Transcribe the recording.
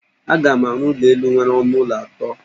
Aga m arụ ụlọ elụ nwere ọnụ ụlọ atọ.